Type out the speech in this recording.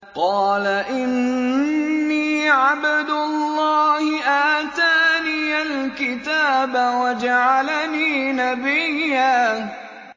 قَالَ إِنِّي عَبْدُ اللَّهِ آتَانِيَ الْكِتَابَ وَجَعَلَنِي نَبِيًّا